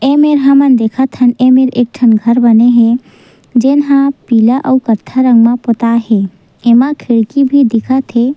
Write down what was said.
ए मेर हमन देखत हन ए मेर एक ठन घर बने हे जेन ह पीला अउ कत्था रंग म पोता हे एमा खिड़की भी दिखत हे।